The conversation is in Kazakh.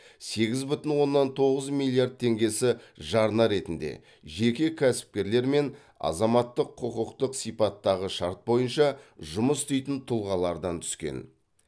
сегіз бүтін оннан тоғыз миллиард теңгесі жарна ретінде жеке кәсіпкерлер мен азаматтық құқықтық сипаттағы шарт бойынша жұмыс істейтін тұлғалардан түскен